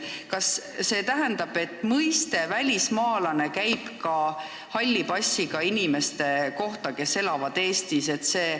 Kas see tähendab, et mõiste "välismaalane" käib ka halli passiga inimeste kohta, kes elavad Eestis?